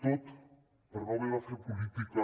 tot per no haver de fer política